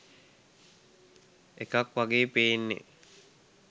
එකක් වගේයි පෙන්නේ